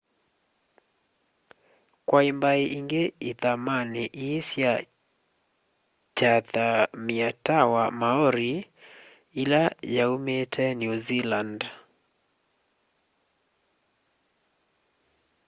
kwai mbai ingi ithamani ii sya chathamyitawa maori ila yaumite new zealand